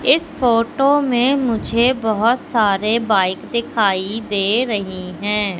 इस फोटो में मुझे बहोत सारे बाइक दिखाई दे रही है।